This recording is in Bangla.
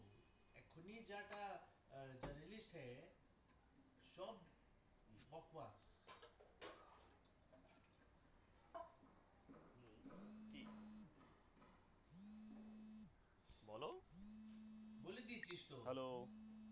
বল হ্যালো